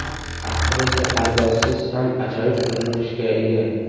Aktrisa pardozsiz ham ajoyib ko‘rinishga ega.